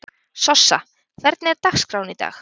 Sossa, hvernig er dagskráin í dag?